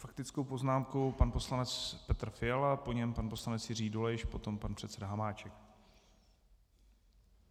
Faktickou poznámku pan poslanec Petr Fiala, po něm pan poslanec Jiří Dolejš, potom pan předseda Hamáček.